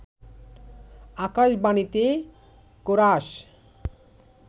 আকাশবাণীতে chorus